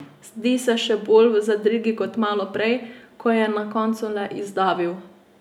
Zdi se še bolj v zadregi kot maloprej, ko je na koncu le izdavil.